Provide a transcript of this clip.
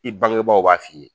I bangebaaw b'a f'i ye!